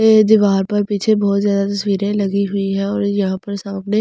ये दीवार पर पीछे बहुत जादा तस्‍वीरें लगी हुई है और यहां पर सामने सोफे पर--